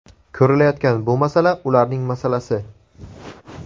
Ko‘rilayotgan bu masala ularning masalasi.